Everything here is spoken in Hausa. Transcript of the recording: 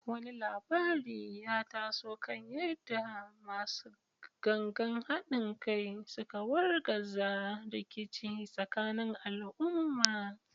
Wani labari ya taso kan yadda “Masu Gangan Hadin Kai” suka wargaza rikici tsakanin al’umma.